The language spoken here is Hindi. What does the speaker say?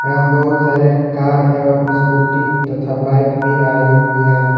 एवं बहुत सारे कार एवं स्कूटी तथा बाइक भी आई हुई है।